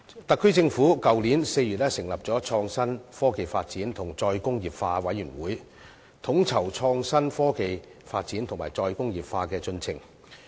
特區政府去年4月成立創新、科技及再工業化委員會，統籌創新科技發展及"再工業化"的進程。